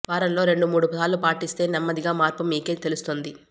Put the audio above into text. వారంలో రెండు మూడు సార్లు పాటిస్తే నెమ్మదిగా మార్పు మీకే తెలుస్తుంది